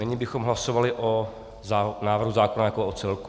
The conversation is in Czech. Nyní bychom hlasovali o návrhu zákona jako o celku.